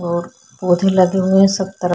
ओर पौधें लगे हुए है सब तरफ --